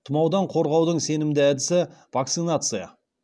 тұмаудан қорғаудың сенімді әдісі вакцинация